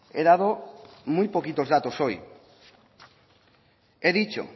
he dado muy poquitos datos hoy he dicho